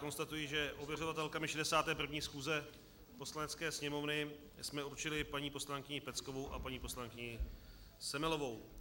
Konstatuji, že ověřovatelkami 61. schůze Poslanecké sněmovny jsme určili paní poslankyni Peckovou a paní poslankyni Semelovou.